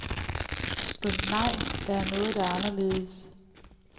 Skønt nej, der er noget, der er anderledes.